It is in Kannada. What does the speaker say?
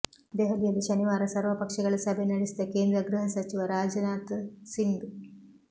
ದೆಹಲಿಯಲ್ಲಿ ಶನಿವಾರ ಸರ್ವಪಕ್ಷಗಳ ಸಭೆ ನಡೆಸಿದ ಕೇಂದ್ರ ಗೃಹ ಸಚಿವ ರಾಜನಾಥ್ ಸಿಂಗ್